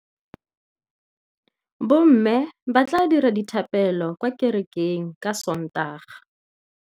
Bommê ba tla dira dithapêlô kwa kerekeng ka Sontaga.